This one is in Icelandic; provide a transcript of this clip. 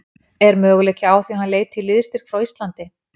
Er möguleiki á því að hann leiti í liðsstyrk frá Íslandi?